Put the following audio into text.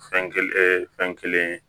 Fɛn kelen fɛn kelen